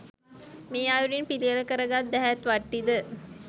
මේ අයුරින් පිළියෙල කරගත් දැහැත් වට්ටිද